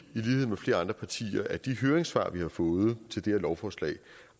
lighed med flere andre partier at de høringssvar vi har fået til det her lovforslag